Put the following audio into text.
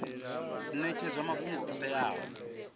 dzi netshedzwa mafhungo o teaho